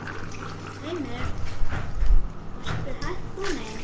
Heimir: Varstu hætt kominn?